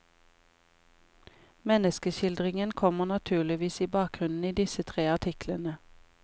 Menneskeskildringen kommer naturligvis i bakgrunnen i disse tre artiklene.